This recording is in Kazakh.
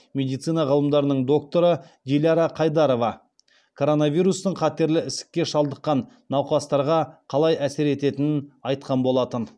медицина ғылымдарының докторы диляра қайдарова коронавирустың қатерлі ісікке шалдыққан науқастарға қалай әсер ететінін айтқан болатын